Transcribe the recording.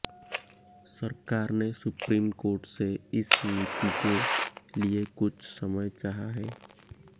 सरकार ने supreme court से इस नीति के लिए कुछ समय चाहा है